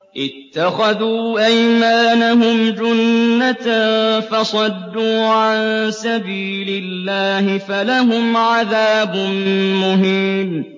اتَّخَذُوا أَيْمَانَهُمْ جُنَّةً فَصَدُّوا عَن سَبِيلِ اللَّهِ فَلَهُمْ عَذَابٌ مُّهِينٌ